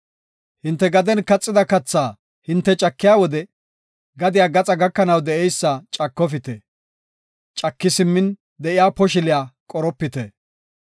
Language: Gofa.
“Hinte gaden kaxida kathaa hinte cakiya wode gadiya gaxaa gakanaw de7eysa cakofite; caki simmin de7iya poshiliya qoropite.